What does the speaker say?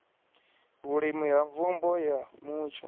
vhulimi na mvumbo ya mutsho